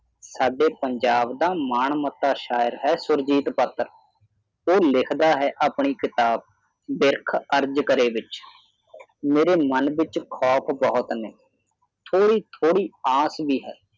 ਸਾਡੇ ਪੰਜਾਬ ਦਾ ਮਾਣ ਮੱਤਾ ਸ਼ਾਇਰ ਹੈ ਸੁਰਜੀਤ ਪਾਤਰ ਉਹ ਲਿਖਦਾ ਹੈ ਆਪਣੀ ਕਿਤਾਬ ਬਿਰਖ ਅਰਜ਼ ਕਰੇ ਵਿਚ ਮੇਰੇ ਮਨ ਵਿਚ ਖੌਫ਼ ਬਹੁਤ ਨੇ ਥੋੜ੍ਹੀ ਥੋੜ੍ਹੀ ਆਸ ਵੀ ਹੈ